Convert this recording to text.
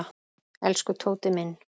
Elsku Tóti minn.